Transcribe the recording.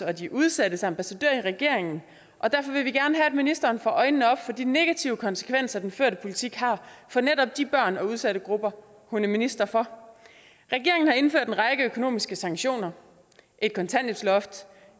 og de udsattes ambassadør i regeringen og derfor vil vi gerne have at ministeren får øjnene op for de negative konsekvenser den førte politik har for netop de børn og udsatte grupper hun er minister for regeringen har indført en række økonomiske sanktioner et kontanthjælpsloft